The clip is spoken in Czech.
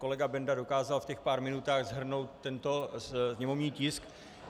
Kolega Benda dokázal v těch pár minutách shrnout tento sněmovní tisk.